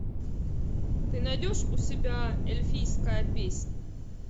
ты найдешь у себя эльфийская песнь